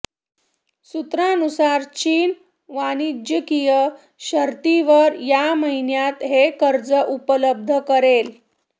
सूत्रानुसार चीन वाणिज्यिक शर्तींवर या महिन्यात हे कर्ज उपलब्ध करेल